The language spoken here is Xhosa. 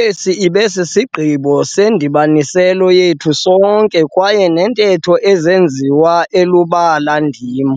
Esi ibe sisigqibo sendibanisela yethu sonke kwaye neentetho ezenziwe elubala ndim